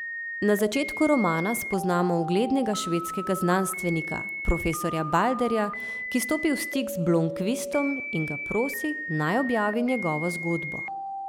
Na začetku romana spoznamo uglednega švedskega znanstvenika, profesorja Balderja, ki stopi v stik z Blomkvistom in ga prosi, naj objavi njegovo zgodbo.